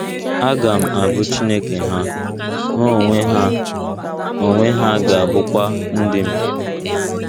Aga m abụ Chineke ha, ha onwe ha onwe ha ga - abụkwa ndị m. ”